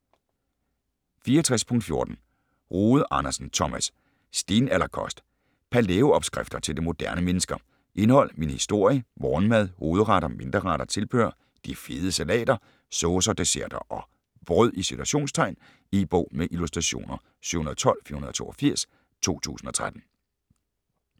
64.14 Rode Andersen, Thomas: Stenalderkost: palæo-opskrifter til det moderne menneske Indhold: Min historie, Morgenmad, Hovedretter, Mindre retter, Tilbehør, De fede salater, Saucer, Desserter & "brød". E-bog med illustrationer 712482 2013.